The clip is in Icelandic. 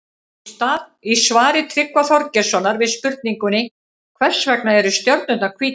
Í svari Tryggva Þorgeirssonar við spurningunni Hvers vegna eru stjörnurnar hvítar?